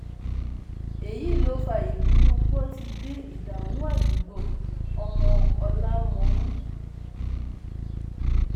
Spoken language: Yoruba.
èyí ló fa ìbínú pọtidé ìdààmú àdúgbò ọmọ ọlámọmù